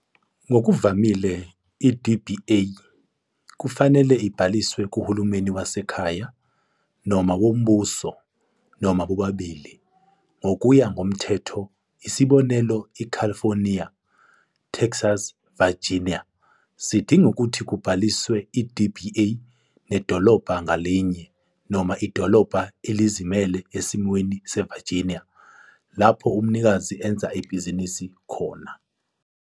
Ngokuvamile, i-DBA kufanele ibhaliswe kuhulumeni wasekhaya noma wombuso, noma bobabili, ngokuya ngomthetho. Isibonelo, California, Texas Virginia zidinga ukuthi kubhaliswe i-DBA nedolobha ngalinye, noma idolobha elizimele esimweni seVirginia, lapho umnikazi enza ibhizinisi khona.